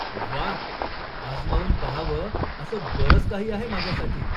व्वा, आजमावून पहावं असं बरंच काही आहे माझ्यासाठी.